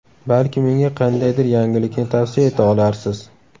Balki menga qandaydir yangilikni tavsiya eta olarsiz?